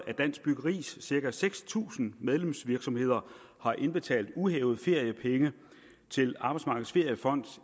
af dansk byggeris cirka seks tusind medlemsvirksomheder har indbetalt uhævede feriepenge til arbejdsmarkedets feriefond